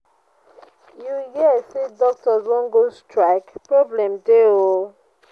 you hear say doctors wan go strike? problem dey oo